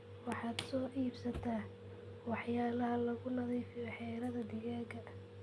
Waxaad soo iibsata waxyalaha lagunadiifiyo xiradhaa digaaga.